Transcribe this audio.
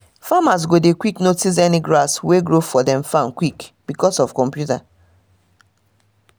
farmers go dey quick notice any grass wey grow for dem farm quick because of computer